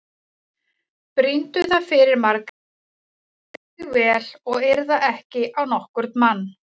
Brýndu það fyrir Margréti að hylja sig vel og yrða ekki á nokkurn mann.